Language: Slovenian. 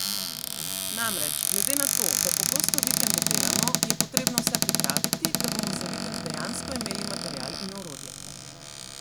Namreč, glede na to, da pogosto vikende delamo, je potrebno vse pripraviti, da bomo za vikend dejansko imeli material in orodje.